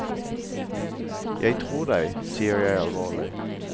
Jeg tror deg, sier jeg alvorlig.